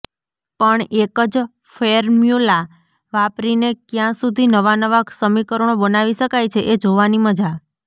પણ એક જ ફેર્મ્યુલા વાપરીને ક્યાં સુધી નવાંનવાં સમીકરણો બનાવી શકાય છે એ જોવાની મજા